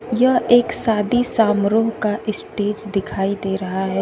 यह एक शादी सामरोह का स्टेज दिखाई दे रहा है।